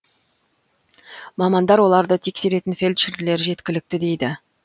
мамандар оларды тексеретін фельдшерлер жеткілікті дейді